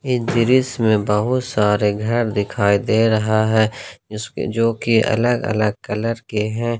इस दृश्य मेंबहुत सारे घर दिखाई दे रहा है इसके जो की अलग अलग कलर के हैं।